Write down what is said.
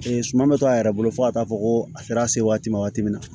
suman bɛ to a yɛrɛ bolo fo ka taa fɔ ko a sera se waati ma waati min na